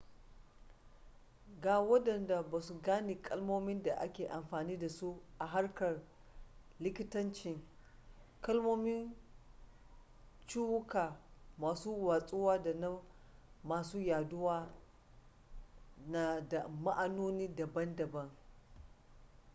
ga wadanda ba sa gane kalmomin da ake amfani da su a harkar likitancin kalmomin ciwuka masu watsuwa da na masu yaduwa na da ma'anoni daban-daban